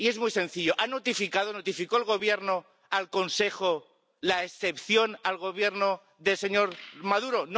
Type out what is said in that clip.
Y es muy sencillo. ¿Notificó el Gobierno al Consejo la excepción al Gobierno del señor Maduro?